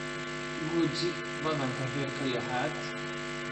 Guji badhanka herka lixaad